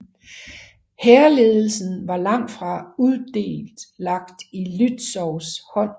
Hærledelsen var langtfra udelt lagt i Lützows hånd